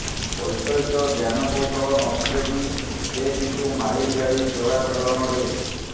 ବୈଷୟିକ ଜ୍ଞାନକୌଶଳ ନଥିଲେ ବି ସେ କିନ୍ତୁ ମାହିର୍ ଗାଡ଼ି ଚୋରାଚାଲାଣରେ